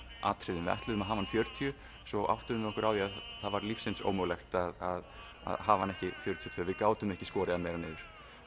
atriðum við ætluðum að hafa hann fjörutíu svo áttuðum við okkur á því að það væri lífsins ómögulegt að hafa hann ekki fjörutíu og tvö við gátum ekki skorið hann meira niður